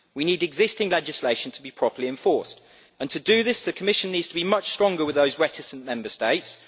We need existing legislation to be properly enforced, and to do this, the Commission needs to be much stronger with those reticent Member States